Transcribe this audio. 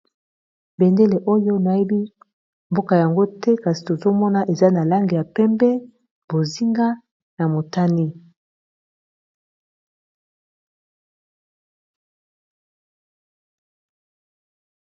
bendele oyo nayebi mboka yango te kasi tozomona eza na langi ya pembe bozinga na motani